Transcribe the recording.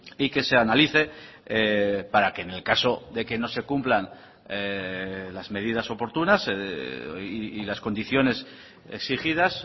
y que se analice para que en el caso de que no se cumplan las medidas oportunas y las condiciones exigidas